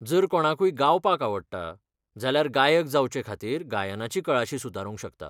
जर कोणाकूय गावपाक आवडटा, जाल्यार गायक जावचेखातीर गायनाची कळाशी सुदारूंक शकता.